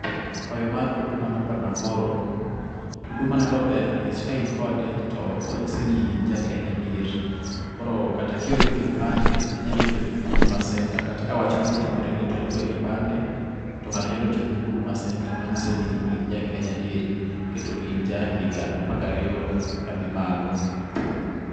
Kwayo mar Huduma namba naoro. Huduma namba ber nikech ka in kode, to onyiso ni in ja Ken ya adier. Koro kata kionge kipande to nyalo tiyo gi Huduma senta kawach moro otimoreni to nidwaro kipande, to ng'ato nyalo tiyo gi Huduma namba manyiso ni in ja ´Kenya adieri kndo in jahiga apar gariyo kadhi malo.